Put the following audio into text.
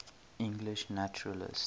english naturalists